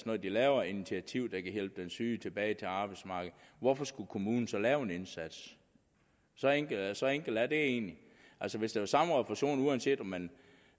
når de laver initiativer der kan hjælpe den syge tilbage til arbejdsmarkedet hvorfor skulle kommunen så lave en indsats så enkelt så enkelt er det egentlig altså hvis det var samme refusion uanset om man